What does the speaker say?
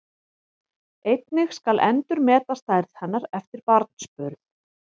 Einnig skal endurmeta stærð hennar eftir barnsburð.